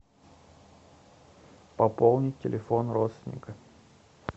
пополнить телефон родственника